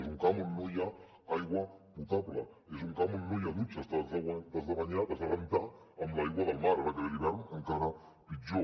és un camp on no hi ha aigua potable és un camp on no hi ha dutxes t’has de banyar t’has de rentar amb l’aigua del mar ara que ve l’hivern encara pitjor